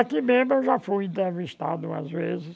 Aqui mesmo eu já fui entrevistado umas vezes.